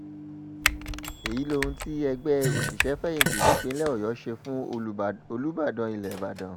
èyí lohun tí ẹgbẹ́ òṣìṣẹ́-fẹ̀yìntì nípìnlẹ̀ ọ̀yọ́ ṣe fún olùbàdàn ilẹ̀ ìbàdàn